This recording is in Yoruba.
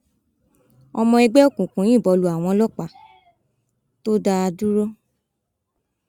ọmọ ẹgbẹ òkùnkùn yìnbọn lu àwọn ọlọpàá tó dá a dúró